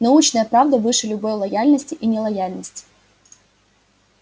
научная правда выше любой лояльности и нелояльности